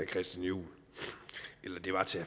christian juhl eller det var til